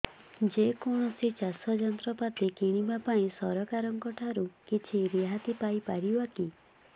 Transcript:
ଯେ କୌଣସି ଚାଷ ଯନ୍ତ୍ରପାତି କିଣିବା ପାଇଁ ସରକାରଙ୍କ ଠାରୁ କିଛି ରିହାତି ପାଇ ପାରିବା କି